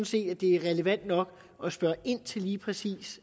set at det er relevant nok at spørge ind til lige præcis